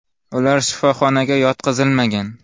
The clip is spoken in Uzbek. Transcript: Ular shifoxonaga yotqizilmagan.